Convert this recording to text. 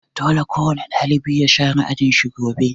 Dole kowane ɗalibi ya share ajin shi gobe'!